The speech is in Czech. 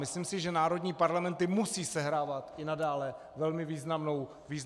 Myslím si, že národní parlamenty musí sehrávat i nadále velmi významnou roli.